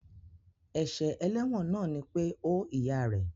Èsè eléwòn náà ni pe ó ìyá rè